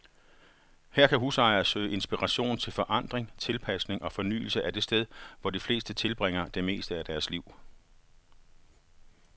Her kan husejere søge inspiration til forandring, tilpasning og fornyelse af det sted, hvor de fleste tilbringer det meste af deres liv.